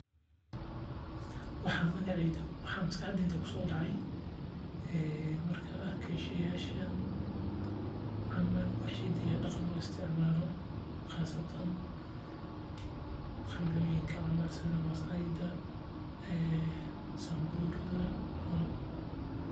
Waxaa maskaxdeyda kusoo dacaaya markaan arko sawiirkaan wax hidaha iyo daqanka loo isticmaali sida masaayda iyo Samburu.